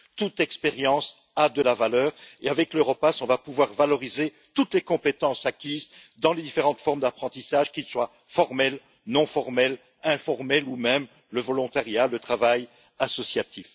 Toute expérience a de la valeur et avec l'Europass on va pouvoir valoriser toutes les compétences acquises dans les différentes formes d'apprentissage, qu'il soit formel, non formel ou informel, ou qu'il s'agisse même de volontariat ou de travail associatif.